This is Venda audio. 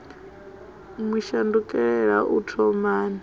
mu shandukela u thomani o